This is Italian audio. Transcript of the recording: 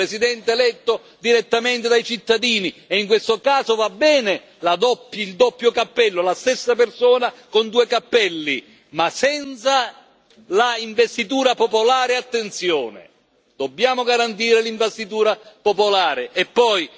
Terzo un Presidente eletto direttamente dai cittadini e in questo caso va bene il doppio cappello la stessa persona con due cappelli ma senza l'investitura popolare, attenzione dobbiamo garantire l'investitura popolare.